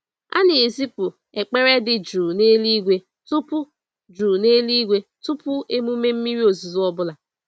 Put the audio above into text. A na-ezipụ ekpere dị jụụ n'eluigwe tupu jụụ n'eluigwe tupu emume mmiri ozuzo ọ bụla.